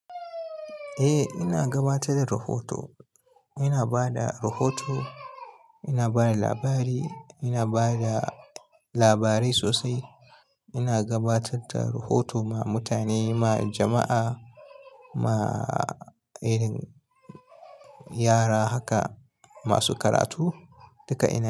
Eh, ina gabatar da rahoto. Ina ba da rahoto, ina ba da labari, ina ba da labarai sosai. Ina gabatar da rahoto ma mutane, ma jama'a, ma irin yara haka masu karatu. Duka ina.